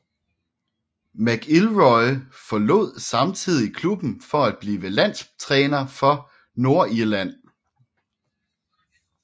McIlroy forlod samtidig klubben for at blive landstræner for Nordirland